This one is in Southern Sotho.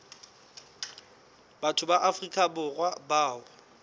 batho ba afrika borwa bao